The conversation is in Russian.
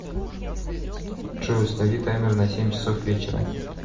джой установи таймер на семь часов вечера